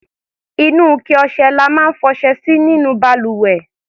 Inú ike ọṣẹ la máa ń fọṣẹ sí nínú balùwẹ̀.